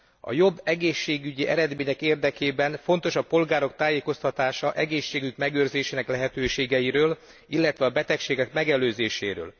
A jobb egészségügyi eredmények érdekében fontos a polgárok tájékoztatása egészségük megőrzésének lehetőségeiről, illetve a betegségek megelőzéséről.